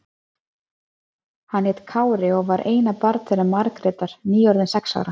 Hann hét Kári og var eina barn þeirra Margrétar, nýorðinn sex ára.